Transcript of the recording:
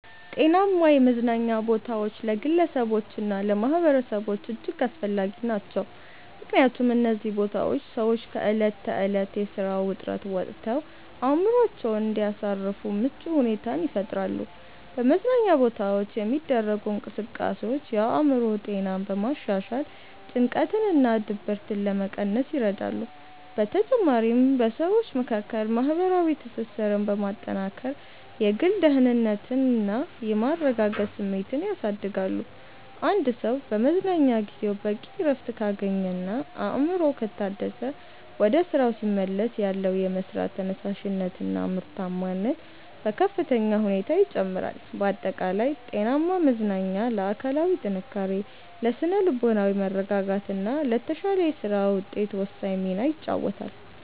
ጤናማ የመዝናኛ ቦታዎች ለግለሰቦችና ለማኅበረሰቦች እጅግ አስፈላጊ ናቸው። ምክንያቱም እነዚህ ቦታዎች ሰዎች ከዕለት ተዕለት የሥራ ውጥረት ወጥተው አእምሮአቸውን እንዲያሳርፉ ምቹ ሁኔታን ይፈጥራሉ። በመዝናኛ ቦታዎች የሚደረጉ እንቅስቃሴዎች የአእምሮ ጤናን በማሻሻል ጭንቀትንና ድብርትን ለመቀነስ ይረዳሉ። በተጨማሪም በሰዎች መካከል ማህበራዊ ትስስርን በማጠናከር የግል ደህንነትና የመረጋጋት ስሜትን ያሳድጋሉ። አንድ ሰው በመዝናኛ ጊዜው በቂ እረፍት ካገኘና አእምሮው ከታደሰ፣ ወደ ሥራው ሲመለስ ያለው የመሥራት ተነሳሽነትና ምርታማነት በከፍተኛ ሁኔታ ይጨምራል። ባጠቃላይ ጤናማ መዝናኛ ለአካላዊ ጥንካሬ፣ ለሥነ-ልቦናዊ መረጋጋትና ለተሻለ የሥራ ውጤት ወሳኝ ሚና ይጫወታል።